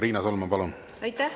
Riina Solman, palun!